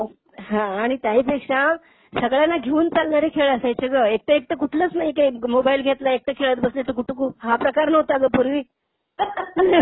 आणि त्याही हां आणि त्याही पेक्षा सगळ्यांना घेऊन चालणारे खेळ असायचे ग. एकटं एकटं कुठलच नाही काही. मोबाइल घेतला एकटं खेळत बसलं असं घुटू घू. हा प्रकार नव्हता ग पूर्वी.